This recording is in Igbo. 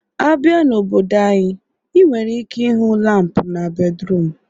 Abia n'obodo anyị, ị nwere ike ịhụ lampụ na bedruum